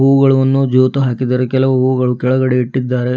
ಹೂವುಗಳವನ್ನು ಜೋತು ಹಾಕಿದ್ದಾರೆ ಕೆಲವು ಹೂವುಗಳು ಕೆಳಗಡೆ ಇಟ್ಟಿದ್ದಾರೆ.